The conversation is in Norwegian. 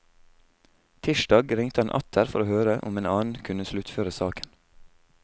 Tirsdag ringte han atter for å høre om en annen kunne sluttføre saken.